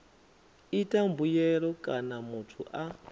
ita mbuyelo kana muthu a